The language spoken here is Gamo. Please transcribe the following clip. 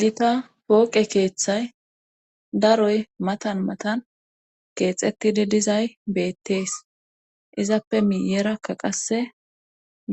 Gita pooqe keeththay daroy matan matan keexetide dizay beettees izappe miyerakka qasse